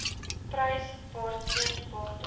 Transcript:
prys waarteen water